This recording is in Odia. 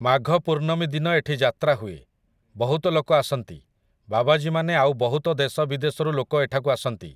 ମାଘ ପୂର୍ଣ୍ଣମୀ ଦିନ ଏଠି ଯାତ୍ରା ହୁଏ । ବହୁତ ଲୋକ ଆସନ୍ତି, ବାବାଜୀ ମାନେ ଆଉ ବହୁତ ଦେଶ ବିଦେଶରୁ ଲୋକ ଏଠାକୁ ଆସନ୍ତି ।